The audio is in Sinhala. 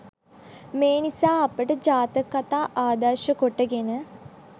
මේ නිසා අපට ජාතක කතා ආදර්ශ කොටගෙන